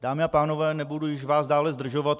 Dámy a pánové, nebudu vás již dále zdržovat.